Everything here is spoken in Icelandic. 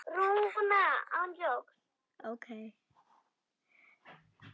Fjúkiði lauf.